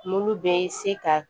N'olu bɛ se ka